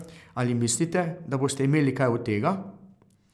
Ali mislite, da boste imeli kaj od tega?